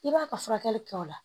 I b'a ka furakɛli kɛ o la